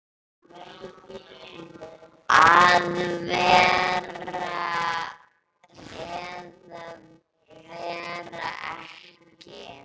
Að vera eða vera ekki.